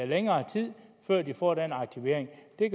længere tid før de får en aktivering det